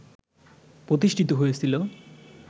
প্রতিষ্ঠিত হয়েছিল